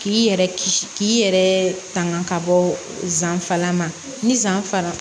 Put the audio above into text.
K'i yɛrɛ kisi k'i yɛrɛ tanga ka bɔ zan fara ma ni zan fara